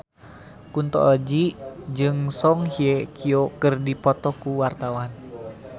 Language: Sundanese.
Kunto Aji jeung Song Hye Kyo keur dipoto ku wartawan